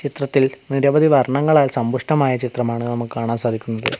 ചിത്രത്തിൽ നിരവധി വർണ്ണങ്ങളാൽ സമ്പുഷ്ടമായ ചിത്രമാണ് നമുക്ക് കാണാൻ സാധിക്കുന്നത്.